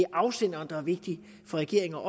afsenderen der er vigtig for regeringer